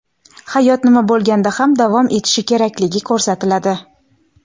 hayot nima bo‘lganda ham davom etishi kerakligi ko‘rsatiladi.